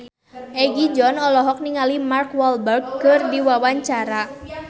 Egi John olohok ningali Mark Walberg keur diwawancara